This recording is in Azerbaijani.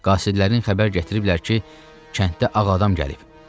Qasidlərin xəbər gətiriblər ki, kəndə ağadam gəlib.